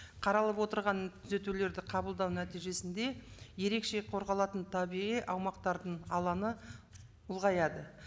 қаралып отырған түзетулерді қабылдау нәтижесінде ерекше қорғалатын табиғи аумақтардың алаңы ұлғаяды